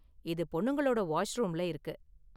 இது பொண்ணுங்களோட வாஷ்ரூம்ல இருக்கு.